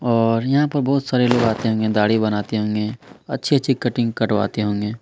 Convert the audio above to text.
और यहाँ पर बहुत सारे लोग आते होंगे दाढ़ी बनवाते होंगे अच्छी-अच्छी कटिंग करवाते होंगे।